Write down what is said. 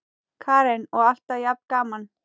Karen: Og alltaf jafn gaman?